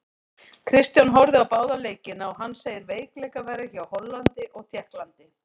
Kristján horfði á báða leikina og hann segir veikleika vera hjá Hollandi og Tékklandi.